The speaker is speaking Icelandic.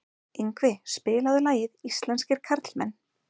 Yngvi, spilaðu lagið „Íslenskir karlmenn“.